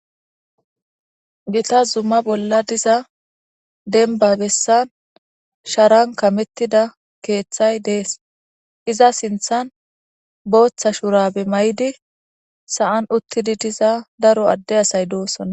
gita zumma bolla diza denba bessan sharan kamettida keeththay dees iza sinthan booththa shurabe may7idi sa7an uttidi diza daro adde asay doossonna